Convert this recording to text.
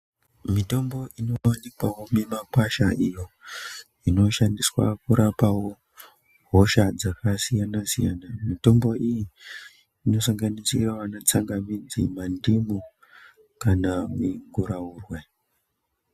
Mutombo inowanikwawo mumakwasha iyo ,inoshandiswa kurapawo hosha dzakasiyana siyana siyana .Mitombo iyi inosanganidzirawo netsangamidzi, mandimu kana miguraurwe.